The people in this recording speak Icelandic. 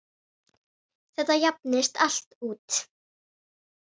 Þetta jafnist allt út.